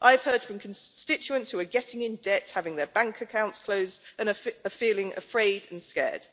I have heard from constituents who are getting into debt, having their bank accounts closed and are feeling afraid and scared.